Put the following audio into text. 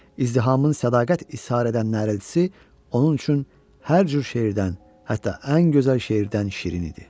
İzdihamın sədaqət ishar edən nərəldisi onun üçün hər cür şeirdən, hətta ən gözəl şeirdən şirin idi.